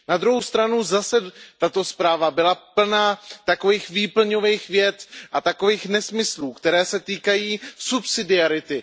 Na druhou stranu zase tato zpráva byla plná takových výplňových vět a nesmyslů, které se týkají subsidiarity.